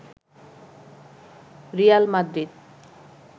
Real Madrid